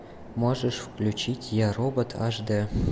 можешь включить я робот аш д